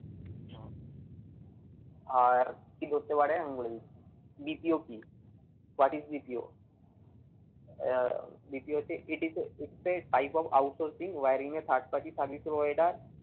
আর কি ধরতে পারে আমি বলে দিচ্ছি। BPO কি? what is BPO আহ BPO হচ্ছে it is a hypo out sourcing wearing a third party service provider